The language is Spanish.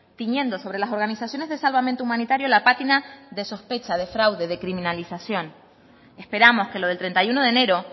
tiñendo sobre las organizaciones de salvamento humanitario la pátina de sospecha de fraude de criminalización esperamos que lo del treinta y uno de enero